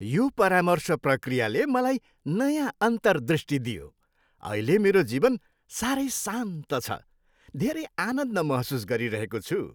यो परामर्श प्रक्रियाले मलाई नयाँ अन्तर्दृष्टि दियो । अहिले मेरो जीवन साह्रै शान्त छ। धेरै आनन्द महसुस गरिरहेको छु।